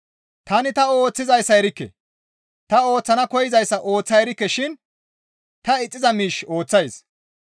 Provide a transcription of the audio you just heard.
Tani ta ooththizayssa erikke; ta ooththana koyzayssa ooththa erikke shin ta ixxiza miish ooththays.